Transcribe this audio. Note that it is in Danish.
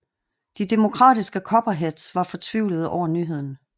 De demokratiske Copperheads var fortvivlede over nyheden